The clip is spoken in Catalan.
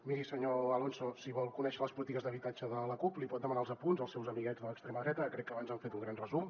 miri senyor alonso si vol conèixer les polítiques d’habitatge de la cup li pot demanar els apunts als seus amiguets de l’extrema dreta que crec que abans n’han fet un gran resum